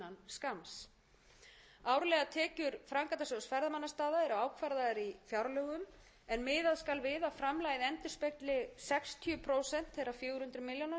hér á alþingi innan skamms árlegar tekjur framkvæmdasjóðs ferðamannastaða eru ákvarðaðar í fjárlögum en miðað skal við að framlagið endurspegli sextíu prósent þeirra fjögur hundruð milljóna sem ríkissjóður mun